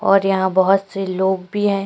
और यहाँ बहुत से लोग भी हैं।